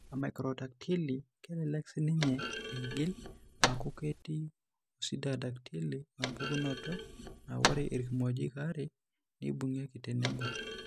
Ore emacrodactyly kelelek siininye eigil aaku ketii osyndactyly, empukunoto naa ore irkimojik aare neibung'ieki tenebo.